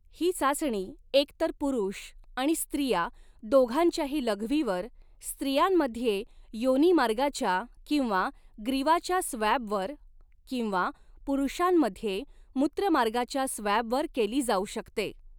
ही चाचणी एकतर पुरुष आणि स्त्रिया दोघांच्याही लघवीवर, स्त्रियांमध्ये योनिमार्गाच्या किंवा ग्रीवाच्या स्वॅबवर किंवा पुरुषांमध्ये मूत्रमार्गाच्या स्वॅबवर केली जाऊ शकते.